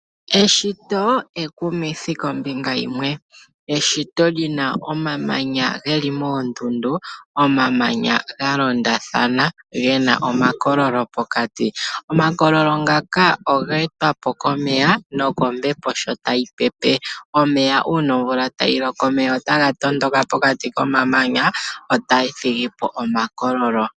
Eshito ekumithi kombinga yimwe, eshito lina omamanya geli moondundu, omamanya ga londathana moondundu gena omakololo pokati. Omakololo ngaka oga etwa po komeya nokombepo shotayi pepe. Omeya uuna omvula tayi loko otaga tondoka pokati komamanaya tayi thigipo omakololo.